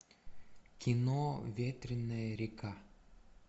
кино ветреная река